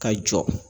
Ka jɔ